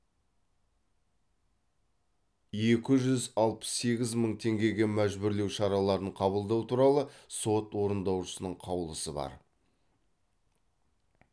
екі жүз алпыс сегіз мың теңгеге мәжбүрлеу шараларын қабылдау туралы сот орындаушысының қаулысы бар